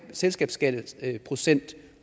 selskabsskatteprocent